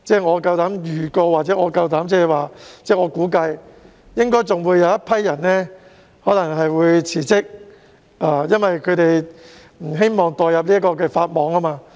我膽敢預告或估計，在宣誓日之前，應該還有一些人會辭職，因為他們不想墮入法網。